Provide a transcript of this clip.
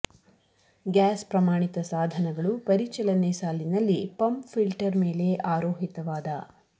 gas ಪ್ರಮಾಣಿತ ಸಾಧನಗಳು ಪರಿಚಲನೆ ಸಾಲಿನಲ್ಲಿ ಪಂಪ್ ಫಿಲ್ಟರ್ ಮೇಲೆ ಆರೋಹಿತವಾದ